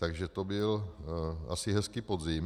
Takže to byl asi hezký podzim.